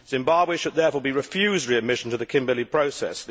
Zimbabwe should therefore be refused readmission to the Kimberley Process.